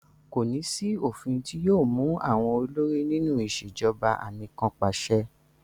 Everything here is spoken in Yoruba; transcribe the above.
Kò ní sí òfìn ti yóò mú àwọn olórí nínú ìṣèjọba anìkanpàṣẹ.